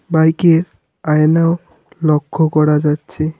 বাইকের আয়নাও লক্ষ্য করা যাচ্ছে।